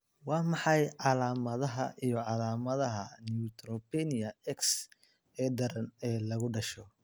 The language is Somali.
Waa maxay calaamadaha iyo calaamadaha Neutropenia X ee daran ee lagu dhasho?